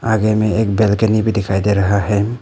आगे में एक बेलकनी भी दिखाई दे रहा है।